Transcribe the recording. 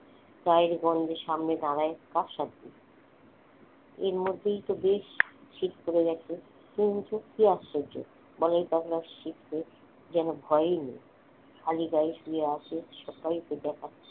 গায়ের গন্ধে সামনে দাঁড়ায় কার সাধ্যি? এর মধ্যেই তো বেশ শীত পড়ে গেছে কিন্তু কি আশ্চর্য বলাই পাগলার শীতে যেন ভয়ই নেই খালি গায়ে শুয়ে আছে সকাল থেকে।